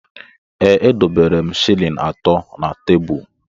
Ee, edobere m shịlịn atọ na tebul.